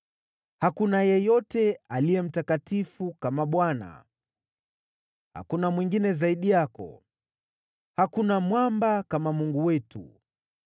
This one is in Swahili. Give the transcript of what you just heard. “Hakuna yeyote aliye mtakatifu kama Bwana , hakuna mwingine zaidi yako; hakuna Mwamba kama Mungu wetu.